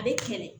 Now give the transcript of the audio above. A bɛ kɛlɛ